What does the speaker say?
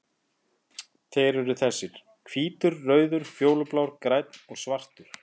Þeir eru þessir: Hvítur, rauður, fjólublár, grænn og svartur.